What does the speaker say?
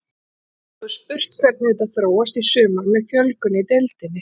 Svo er spurning hvernig þetta þróast í sumar með fjölgun í deildinni.